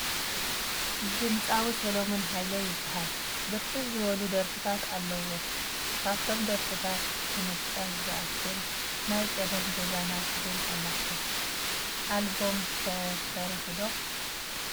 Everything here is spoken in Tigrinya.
ድምፃዊ ሰለሙን ሃይለ ይባሃል ። ብርክት ዝበሉ ድርፍታት ኣለዎ ። ካብቶ ድርፍ ታት ንምጥቃስ ዝኣክል ናይ ቀደም ገዛና ትብል ኣላቶ ።ኣልበም ከ ሰሪሑ ዶ ?